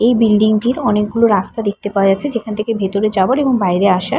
এই বিল্ডিংটির অনেকগুলো রাস্তা দেখতে পাওয়া যাচ্ছে যেখান থেকে ভেতরে যাওয়ার এবং বাইরে আসার--